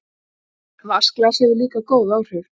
Vatnsglas hefur líka góð áhrif.